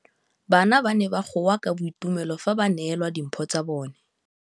Bana ba ne ba goa ka boitumelo fa ba neelwa dimphô tsa bone.